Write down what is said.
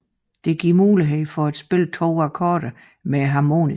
Dette giver mulighed for at spille to akkorder med harmonikaen